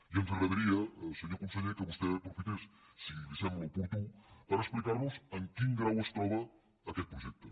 i ens agradaria senyor conseller que vostè aprofités si li sembla oportú per explicar nos en quin grau es troba aquest projecte